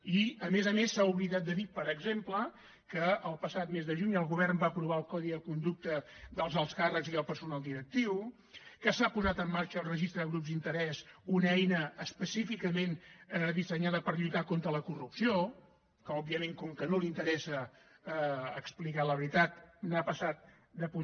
i a més a més s’ha oblidat de dir per exemple que el passat mes de juny el govern va aprovar el codi de conducta dels alts càrrecs i el personal directiu que s’ha posat en marxa el registre de grups d’interès una eina específicament dissenyada per lluitar contra la corrupció que òbviament com que no li interessa explicar la veritat hi ha passat de pun